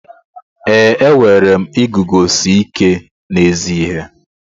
Ee, enwere m iguzosi ike n'ezi ihe.